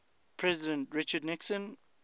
president richard nixon